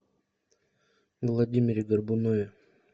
владимире горбунове